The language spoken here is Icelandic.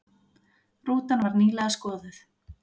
Rútan var nýlega skoðuð